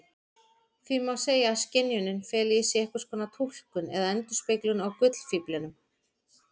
Því má segja að skynjunin feli í sér einskonar túlkun eða endurspeglun á gullfíflinum.